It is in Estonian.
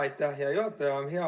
Aitäh, hea juhataja!